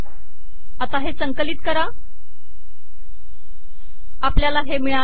आता आपल्याला हे मिळाले